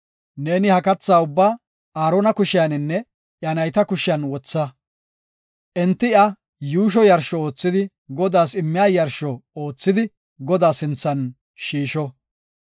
Neeni ha katha ubbaa Aarona kushiyaninne iya nayta kushiyan wotha. Enti iya yuusho yarsho oothidi Godaas immiya yarsho oothidi Godaa sinthan shiisho.